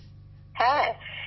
বিশাখাজীঃ হ্যাঁ